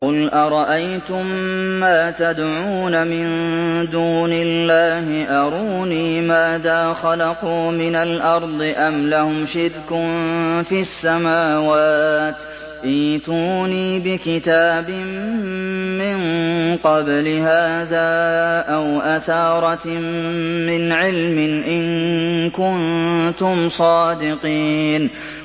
قُلْ أَرَأَيْتُم مَّا تَدْعُونَ مِن دُونِ اللَّهِ أَرُونِي مَاذَا خَلَقُوا مِنَ الْأَرْضِ أَمْ لَهُمْ شِرْكٌ فِي السَّمَاوَاتِ ۖ ائْتُونِي بِكِتَابٍ مِّن قَبْلِ هَٰذَا أَوْ أَثَارَةٍ مِّنْ عِلْمٍ إِن كُنتُمْ صَادِقِينَ